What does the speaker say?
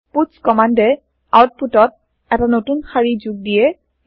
পুৎছ কমান্দে আওতপুতত এটা নতুন শাৰি যোগ দিয়ে